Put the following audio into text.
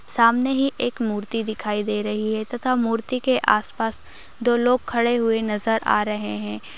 सामने ही एक मूर्ति दिखाई दे रही है तथा मूर्ति के आस पास दो लोग खड़े हुए नजर आ रहे हैं।